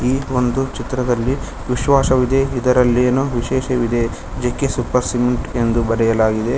ಈ ಒಂದು ಚಿತ್ರದಲ್ಲಿ ವಿಶ್ವಾಸವಿದೆ ಇದರಲ್ಲೇನೂ ವಿಶೇಷವಿದೆ ಜೆ_ಕೆ ಸೂಪರ್ ಸಿಮೆಂಟ್ ಎಂದು ಬರೆಯಲಾಗಿದೆ.